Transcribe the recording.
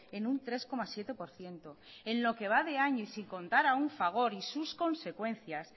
en un tres coma siete por ciento en lo que va de año y sin contar aún fagor y sus consecuencias